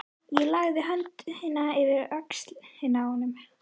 Ég lagði höndina yfir öxl honum.